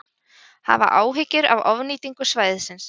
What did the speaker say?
Hafa áhyggjur af ofnýtingu svæðisins